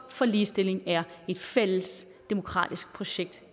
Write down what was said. for ligestilling er et fælles demokratisk projekt